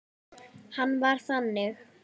Hann var þannig.